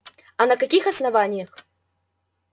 а на каких основаниях